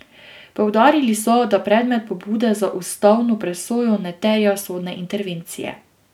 Poudarili so, da predmet pobude za ustavno presojo ne terja sodne intervencije.